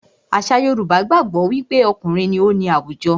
Àṣà Yorùbá gbàgbó wí pé okùnrin ní o ní àwùjọ.